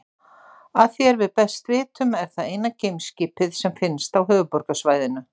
Að því er við best vitum er það eina geimskipið sem finnst á Höfuðborgarsvæðinu.